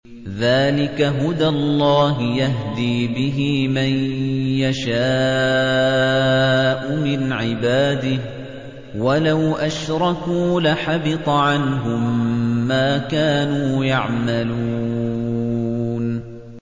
ذَٰلِكَ هُدَى اللَّهِ يَهْدِي بِهِ مَن يَشَاءُ مِنْ عِبَادِهِ ۚ وَلَوْ أَشْرَكُوا لَحَبِطَ عَنْهُم مَّا كَانُوا يَعْمَلُونَ